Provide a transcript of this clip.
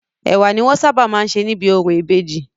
Ẹ̀wà ni wọ́n sábà má ń sė níbi orò ìbejì.